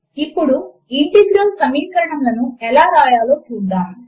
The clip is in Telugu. ఇప్పుడు ఇంటిగ్రల్ సమీకరణములను ఎలా వ్రాయాలో చూద్దాము